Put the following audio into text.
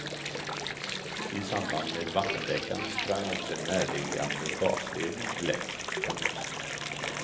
I samband med vattenläckan sprang också en närliggande gasledning läck. punkt